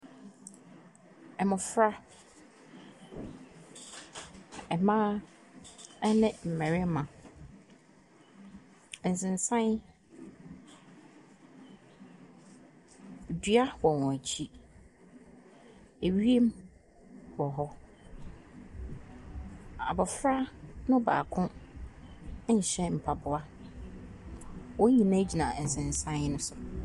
Mmɔfra: mmaa ne mmarima, nsensan, dua wɔ wɔn akyi, wiem wɔ hɔ, abɔfra baako nhyɛ mpaboa, wɔn nyinaa gyina nsensan ne so.